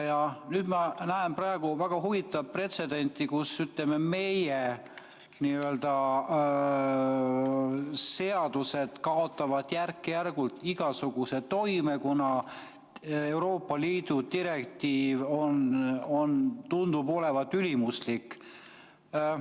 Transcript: Ja nüüd ma näen väga huvitavat pretsedenti, kuidas meie seadused kaotavad järk-järgult igasuguse toime, kuna Euroopa Liidu direktiiv tundub olevat ülimuslik.